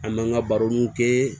An b'an ka baroniw kɛ